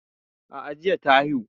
A'a jiya ta haihu